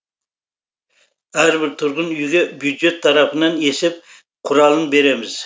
әрбір тұрғын үйге бюджет тарапынан есеп құралын береміз